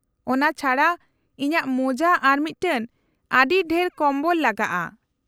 -ᱚᱱᱟ ᱪᱷᱟᱰᱟ, ᱤᱧᱟᱹᱜ ᱢᱳᱡᱟ ᱟᱨ ᱢᱤᱫᱴᱟᱝ ᱟᱹᱰᱤ ᱰᱷᱮᱨ ᱵᱚᱢᱵᱚᱞ ᱞᱟᱜᱟᱜᱼᱟ ᱾